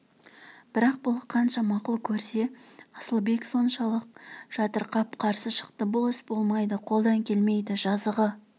бірақ бұл қанша мақұл көрсе асылбек соншалық жатырқап қарсы шықты бұл іс болмайды қолдан келмейді жазығы